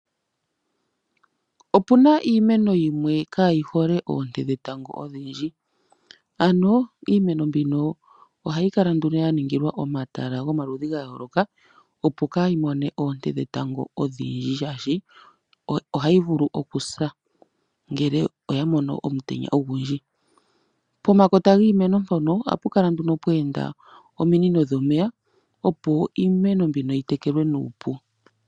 Opuna iimeno yimwe kaa yi hole oonte dhetango odhindji . Iimeno mbino ohayi Kala nduno ya ningilwa omahala yomaludhi ga yooloka opo kaayi money oonte dhetango odhindji shaashi ohayi vulu okusa ngele oya mono omutenya ogundji . Pomakota giimeno mpono ohapu Kala nduno pwa enda ominino dhomeya opo iimeno mbino yitekelwe nuupu .